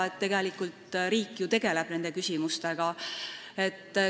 Me teame ka, et riik nende küsimustega tegeleb.